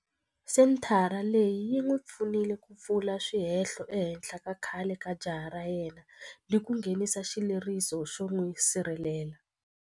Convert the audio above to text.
Senthara leyi yi n'wi pfunile ku pfula swihehlo ehenhla ka khale ka jaha ra yena ni ku nghenisa xileriso xo n'wi sirhelela.